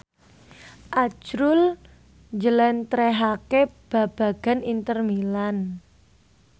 azrul njlentrehake babagan Inter Milan